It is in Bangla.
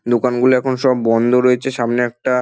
দোকানগুলো এখন সব বন্ধ রয়েছে সামনে একটা--